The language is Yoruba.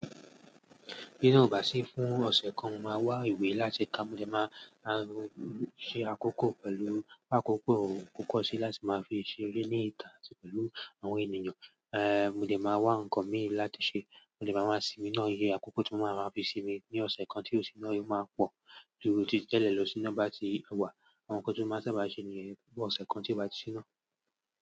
Bí iná ò bá sí fún ọ̀sẹ̀ kan, màá wá ìwé láti kà, mo dé máa ṣe àkókò pẹ̀lú àkókò kíkọ̀ sí láti máa fi ṣe eré ní ìta àti pẹ̀lú àwọn ènìyàn. Ehn, mo dé máa wá nǹkan míì láti ṣe, mo dé máa máa sinmi náà ye, àkókò tí mo máa máa fi sinmi ní ọ̀sẹ̀ kan tí òsì náà yóò máa pọ̀ ju títí lẹ́ẹ̀lẹ̀ lọ sínú bá ti wà. Àwọn nǹkan tí ó máa sábà ṣe nìyẹn ní ọ̀sẹ̀ kan tí ó bá ti ṣíná.